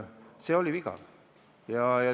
See oli viga.